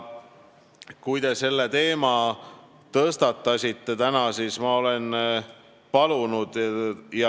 Te selle teema täna tõstatasite.